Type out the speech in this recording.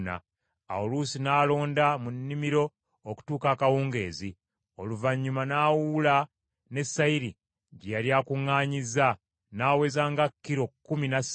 Awo Luusi n’alonda mu nnimiro okutuuka akawungeezi, oluvannyuma n’awuula ne sayiri gye yali akuŋŋaanyizza, n’aweza nga kilo kkumi na ssatu.